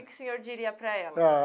Que que o senhor diria para elas? Ah.